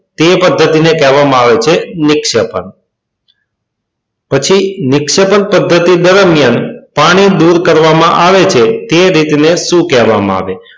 તે પદ્ધતિને કહેવામાં આવે છે નિક્ષેપણ. પછી નિક્ષેપણ પદ્ધતિ દરમિયાન પાણી દૂર કરવામાં આવે છે તે રીતે ને શું કહેવામાં આવે છે?